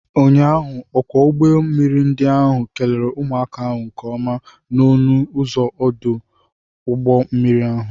Ụnyaahụ, ọkwọ ụgbọ mmiri ndi ahụ kelere ụmụaka ahụ nke ọma n'ọnụ ụzọ ọdụ ụgbọ mmiri ahụ.